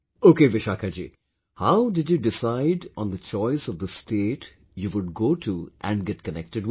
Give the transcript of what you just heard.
Ok Vishakha ji, how did you decide on the choice of the State you would go to and get connected with